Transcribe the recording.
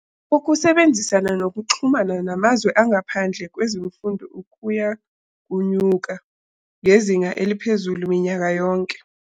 Ukusebenzisana nokuxhumana namazwe angahandle kwezemfundo kuya kunyuka ngezinga eliphezulu minyaka yonke.